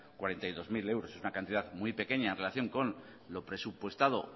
cuarenta y dos mil euros es una cantidad muy pequeña en relación con lo presupuestado o